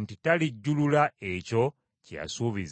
nti talijjulula ekyo kye yasuubiza.